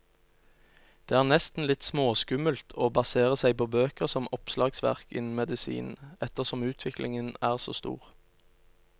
Det er nesten litt småskummelt å basere seg på bøker som oppslagsverk innen medisin, ettersom utviklingen er så stor.